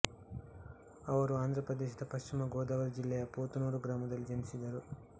ಅವರು ಆಂಧ್ರಪ್ರದೇಶದ ಪಶ್ಚಿಮ ಗೋದಾವರಿ ಜಿಲ್ಲೆಯ ಪೊತುನೂರು ಗ್ರಾಮದಲ್ಲಿ ಜನಿಸಿದರು